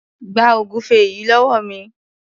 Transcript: Gba ògúnfẹ yìí lówó mi.